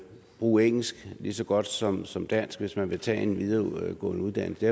bruge engelsk lige så godt som som dansk hvis man vil tage en videregående uddannelse